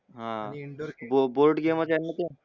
हा बॉ board game मधे हाय ना त्या